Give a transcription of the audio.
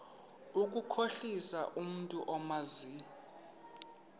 ukukhohlisa umntu omazi